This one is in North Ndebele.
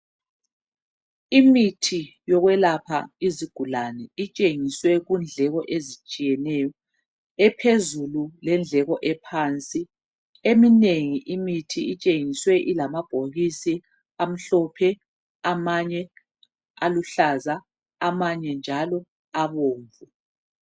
Imithi yokwelapha izigulane itshengiswe kundleko ezitshiyeneyo, ephezulu lendleko ephansi .Eminengi imithi itshengiswe ilamabhokisi amhlophe amanye aluhlaza amanye njalo abomvu.